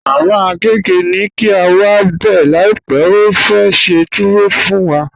Mama Agẹgẹ ni kí a wá bẹ láípè, ó fẹ́ ṣẹ́ tùwọ̀ fún wà.